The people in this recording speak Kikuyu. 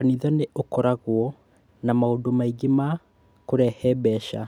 Kanitha nĩ ũkoragwo na maũndũ maingĩ ma kũrehe mbeca.